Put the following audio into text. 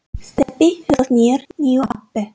Stebbi hlóð niður nýju appi.